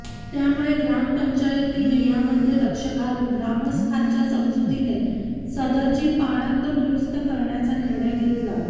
त्यामुळे ग्रामपंचायतीने यामध्ये लक्ष घालून ग्रामस्थांच्या समजुतीने सदरची पाणंद दुरुस्त करण्याचा निर्णय घेतला